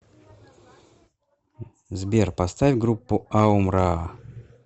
сбер поставь группу аум раа